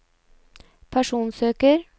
personsøker